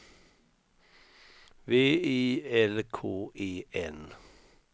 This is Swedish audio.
V I L K E N